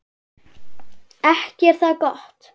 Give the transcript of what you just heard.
Ekki er það gott!